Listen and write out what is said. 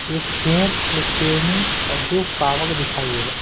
एक शेर एक शेरनी और दो सावक दिखाई दे रहे --